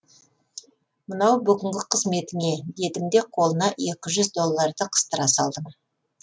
мынау бүгінгі қызметіңе дедім де қолына екі жүз долларды қыстыра салдым